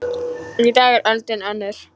Í dag er öldin önnur.